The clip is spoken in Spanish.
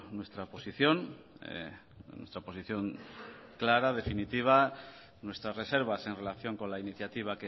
nuestra posición nuestra posición clara definitiva nuestras reservas en relación con la iniciativa